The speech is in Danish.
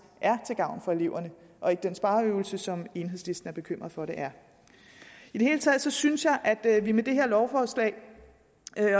er til gavn for eleverne og ikke den spareøvelse som enhedslisten er bekymret for at det er i hele taget synes jeg at vi med det her lovforslag